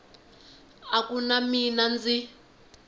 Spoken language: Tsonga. a ku na mina ndzi